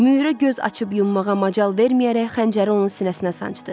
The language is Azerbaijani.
Müürə göz açıb yummağa macal verməyərək xəncəri onun sinəsinə sancdı.